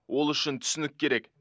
ол үшін түсінік керек